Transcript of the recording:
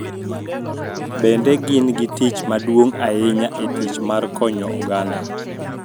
Bende, gin gi tich maduong� ahinya e tich mar konyo oganda